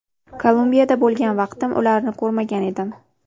Kolumbiyada bo‘lgan vaqtim ularni ko‘rmagan edim.